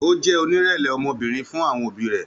Ó jẹ́ oníìrẹ̀lẹ̀ ọmọbìnrin fún àwọn òbí rẹ̀